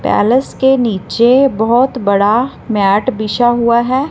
Palace के नीचे बहोत बड़ा बिछा हुआ है।